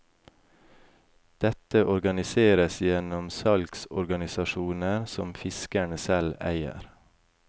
Dette organiseres gjennom salgsorganisasjoner som fiskerne selv eier.